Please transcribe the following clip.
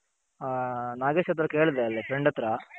ನಾಗೇಶ್ ಹತ್ರ ಕೇಳ್ದೆ ಅಲ್ಲಿ Friend ಹತ್ರ.